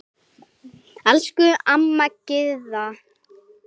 Elsku amma Gyða.